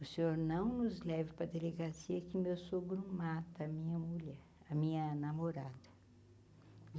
O Senhor não nos leve para delegacia que meu sogro mata a minha mulher, a minha namorada.